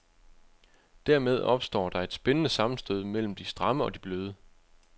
Dermed opstår der et spændende sammenstød mellem det stramme og det bløde.